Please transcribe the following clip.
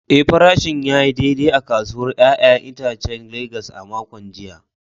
Eh, farashin ya yi daidai a kasuwar ‘ya’yan itacen Legas a makon jiya.